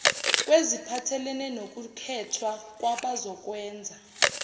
kweziphathelene nokukhethwa kwabazokwenza